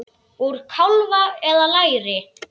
Úr kálfa eða læri!